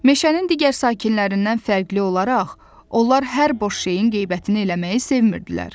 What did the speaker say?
Meşənin digər sakinlərindən fərqli olaraq, onlar hər boş şeyin qeybətini eləməyi sevmidilər.